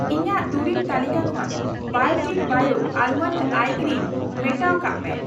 ᱤᱧᱟᱜ ᱫᱩᱨᱤᱵ ᱛᱟᱹᱞᱤᱠᱟ ᱠᱷᱚᱱ ᱵᱟᱭᱚᱴᱤᱠ ᱵᱟᱭᱚ ᱟᱞᱢᱚᱱᱰ ᱟᱭ ᱠᱨᱤᱢ ᱢᱮᱴᱟᱣ ᱠᱟᱜ ᱢᱮ ᱾